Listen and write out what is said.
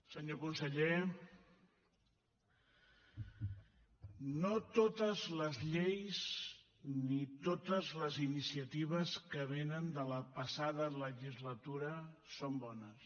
senyor conseller no totes les lleis ni totes les iniciatives que vénen de la passada legislatura són bones